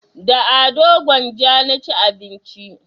Da ado gwanja na ci abinci